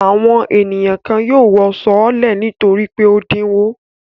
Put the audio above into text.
Àwọn ènìyàn kan yóò wọ sọọ́lẹ̀ nítorí pé ó dínwó.